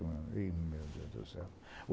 Meu Deus do céu!